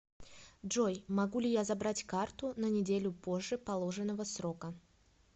джой могу ли я забрать карту на неделю позже положенного срока